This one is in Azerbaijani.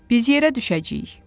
Biz yerə düşəcəyik.